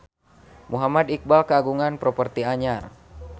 Muhammad Iqbal kagungan properti anyar